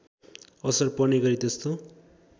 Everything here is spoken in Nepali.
असर पर्नेगरी त्यस्तो